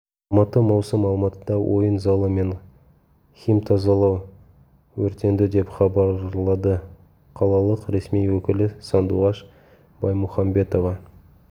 алматы маусым алматыда ойын залы мен химтазалау өртенді деп хабарлады қалалық ресми өкілі сандуғаш баймұхамбетова